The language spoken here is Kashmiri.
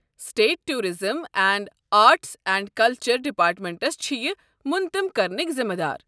State tourism and arts and culture departments چھِ یہِ مُنطم كرنٕكۍ ذِمہٕ دار۔